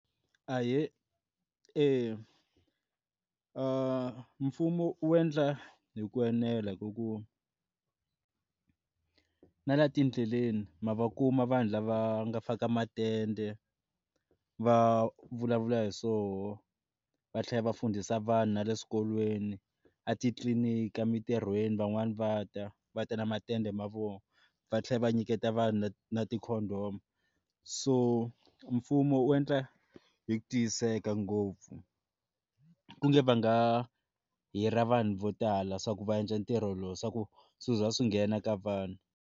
Ahee eya mfumo wu endla hi ku enela hi ku ku na la tindleleni ma va kuma vanhu lava nga faka matende va vulavula hi swoho va tlhela va fundisa vanhu na le swikolweni a titliliniki emitirhweni van'wani va ta va ta na matende mavoko va tlhela va nyiketa vhanu na ti-condom homu so mfumo wu endla hi ku tiyiseka ngopfu kumbe va nga hira vanhu vo tala swa ku va endla ntirho lowu swa ku swiza swi nghena ka vanhu.